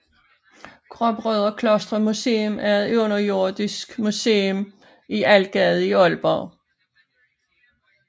Gråbrødrekloster Museum er et underjordisk museum i Algade i Aalborg